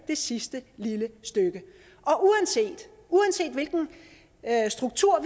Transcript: det sidste lille stykke og uanset hvilken struktur